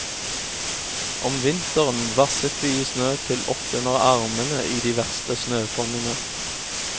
Om vinteren vasset vi i snø til opp under armene i de verste snøfonnene.